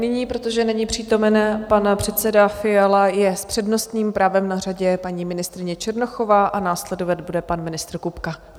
Nyní, protože není přítomen pan předseda Fiala, je s přednostním právem na řadě paní ministryně Černochová a následovat bude pan ministr Kupka.